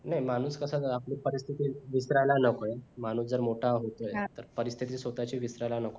नाही माणूस कसा आपली परिथिती विसरायला नको माणूस जर मोठा होतोय तर परिथिती स्वतःची विसरायला नकोय